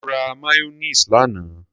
Mo ra mayonnaise lánàá.